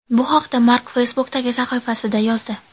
Bu haqda Mark Facebook’dagi sahifasida yozdi.